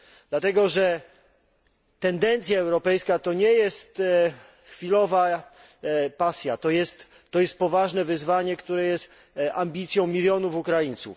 Dlatego, że tendencja europejska to nie jest chwilowa pasja, to jest poważne wyzwanie, które jest ambicją milionów Ukraińców.